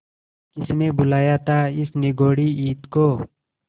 किसने बुलाया था इस निगौड़ी ईद को